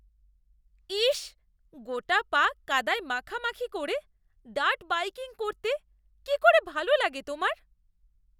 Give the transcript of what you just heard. ইস! গোটা পা কাদায় মাখামাখি করে ডার্ট বাইকিং করতে কি করে ভালো লাগে তোমার?